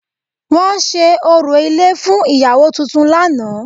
Wọ́n ṣe orò ilé fún ìyàwó tuntun lánàá